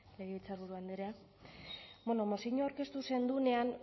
legebiltzarburu andrea bueno moziñoa aurkeztu zendunean